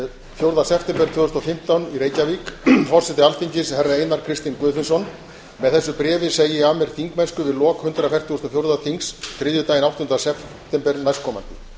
fjórða september reykjavík forseti alþingis herra einar kristinn guðfinnsson með þessu bréfi segi ég af mér þingmennsku við lok hundrað fertugasta og fjórða þings þriðjudaginn áttunda september næstkomandi